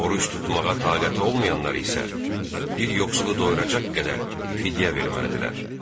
Oruc tutmağa taqəti olmayanlar isə bir yoxsulu doyuracaq qədər fidyə verməlidirlər.